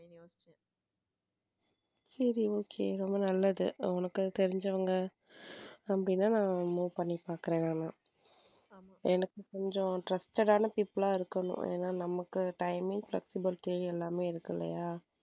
சரி okay ரொம்ப நல்லது உனக்கு தெரிஞ்சவங்க அப்படின்னா நான் move பண்ணி பார்க்கிறேன நானு எனக்கு கொஞ்சம trusted ஆனா people இருக்கணும் ஏன்னா நமக்கு timing flexibility எல்லாமே இருக்கும் இல்லையா.